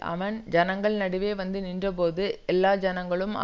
அவன் ஜனங்கள் நடுவே வந்து நின்ற போது எல்லா ஜனங்களும்